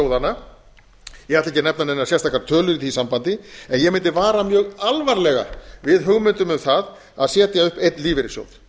ætla ekki að nefna neina sérstaka tölu í því sambandi en ég mundi vara dag alvarlega við hugmyndum um það að setja upp einn lífeyrissjóð